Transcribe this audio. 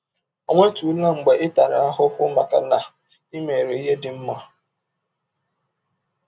Ọ̀ nwetụla mgbe ị tara ahụhụ maka na i mere ihe dị mma?